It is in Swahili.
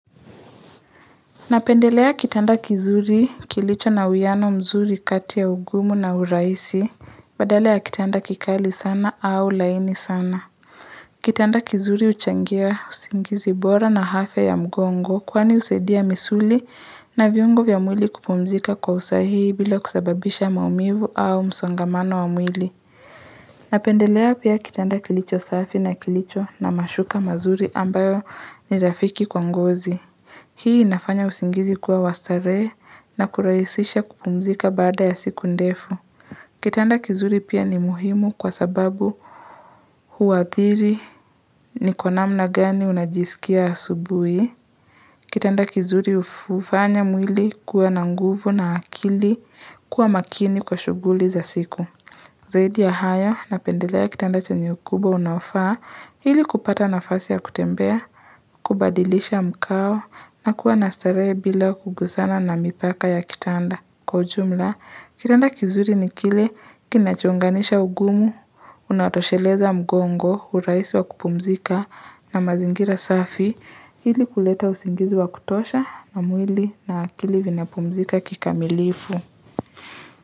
Napendelea kitanda kizuri, kilicho na uwiano mzuri kati ya ugumu na uraisi Badala ya kitanda kikali sana au laini sana Kitanda kizuri uchangia usingizi bora na afya mgongo Kwani usaidia misuli na viungo vya mwili kupumzika kwa usahihi bila kusababisha maumivu au msongamano wa mwili Napendelea pia kitanda kilicho safi na kilicho na mashuka mazuri ambayo ni rafiki kwa ngozi Hii inafanya usingizi kuwa wastarehe na kuraisisha kupumzika baada ya siku ndefu. Kitanda kizuri pia ni muhimu kwa sababu huathiri ni kwa namna gani unajisikia asubui. Kitanda kizuri ufanya mwili kuwa na nguvu na akili kuwa makini kwa shuguli za siku. Zaidi ya hayo napendelaa kitanda chanye ukubwa unaofaa ili kupata nafasi ya kutembea, kubadilisha mkao na kuwa nastarehe bila kuguzana na mipaka ya kitanda. Kwa ujumla, kitanda kizuri ni kile kinachuunganisha ugumu, unatosheleza mgongo, urahisi wa kupumzika na mazingira safi ili kuleta usingizi wa kutosha na mwili na akili vinapumzika kikamilifu.